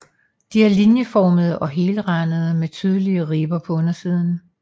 De er linjeformede og helrandede med tydelige ribber på undersiden